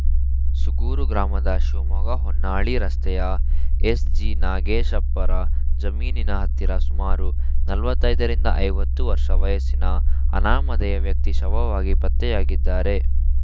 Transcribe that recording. ಸೂಗೂರು ಗ್ರಾಮದ ಶಿವಮೊಗ್ಗ ಹೊನ್ನಾಳಿ ರಸ್ತೆಯ ಎಸ್‌ಜಿ ನಾಗೇಶಪ್ಪರ ಜಮೀನಿನ ಹತ್ತಿರ ಸುಮಾರು ನಲ್ವತೈದರಿಂದ ಐವತ್ತು ವರ್ಷ ವಯಸ್ಸಿನ ಅನಾಮಧೇಯ ವ್ಯಕ್ತಿ ಶವವಾಗಿ ಪತ್ತೆಯಾಗಿದ್ದಾರೆ